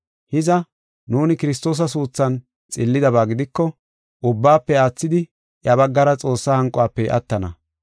Hiza, nuuni Kiristoosa suuthan xillidaba gidiko, ubbaafe aathidi iya baggara Xoossaa hanquwafe attana.